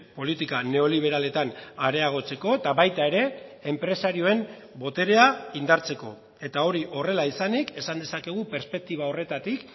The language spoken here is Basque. politika neoliberaletan areagotzeko eta baita ere enpresarioen boterea indartzeko eta hori horrela izanik esan dezakegu perspektiba horretatik